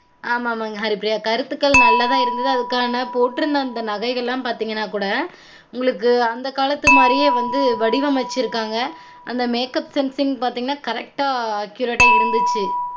ஆமா ஆமாங்க ஹரிப்ரியா கருத்துகள் நல்லா தான் இருந்தது அதுகான பொட்டு இருந்த நகைகள் எல்லாம் பாத்தீங்கனா கூட அந்த காலத்து மாரியே வடிவமைச்சுருக்காங்க அந்த makeup sensing பாத்தீங்கன correct ஆ accurate ஆ இருந்தச்சு